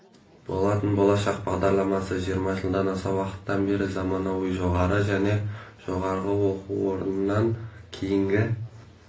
болатын болашақ бағдарламасы жиырма жылдан аса уақыттан бері заманауи жоғары және жоғары оқу орнынан кейінгі